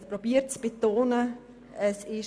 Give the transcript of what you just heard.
Ich habe versucht, dies hervorzuheben.